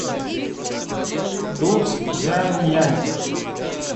дуцзянъянь